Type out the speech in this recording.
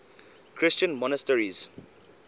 christian monasteries